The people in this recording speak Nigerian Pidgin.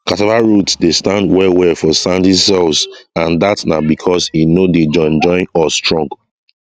cassava roots dey stand well well for sandy soils and that na because e no dey join join or strong